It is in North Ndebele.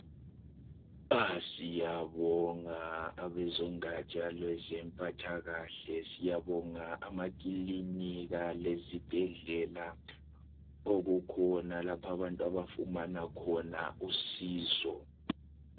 Siyabonga abezongatsha lwezomphatha kahle, siyabonga amakilinika lezibheldela okukhona lapho abantu abafunamana khona usizo.